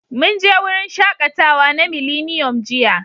Mun je wurin shaƙatawa na Miliniyom jiya.